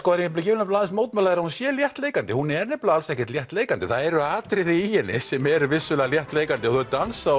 vil aðeins mótmæla því að hún sé léttleikandi hún er nefnilega alls ekki léttleikandi það eru atriði í henni sem eru vissulega léttleikandi þau dansa